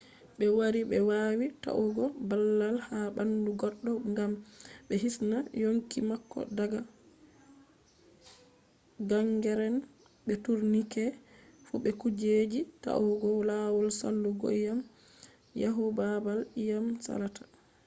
be wari be wawi ta’ugo babal ha bandu goddo gam be hisna yonki mako daga gangrene be tourniquets fu be kujeji ta’ugo lawol salugoiyam yahu babal iyam salata